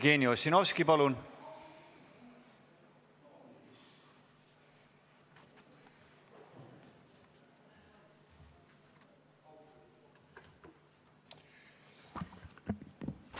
Jevgeni Ossinovski, palun!